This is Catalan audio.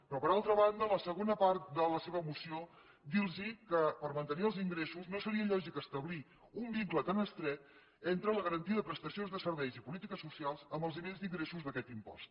però per altra banda a la segona part de la seva moció dir los que per mantenir els ingressos no seria lògic establir un vincle tan estret entre la garantia de prestacions de serveis i polítiques socials amb els nivells d’ingressos d’aquest impost